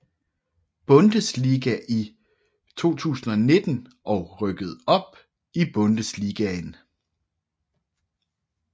Bundesliga i 2019 og rykkede op i Bundesligaen